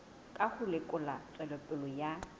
ka ho lekola tswelopele ya